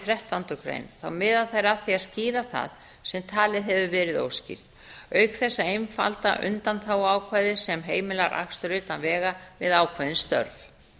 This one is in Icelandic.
þrettándu grein þá miða þær að því að skýra það sem talið hefur verið óskýrt auk þess að einfalda undanþáguákvæði sem heimilar akstur utan vega við ákveðin störf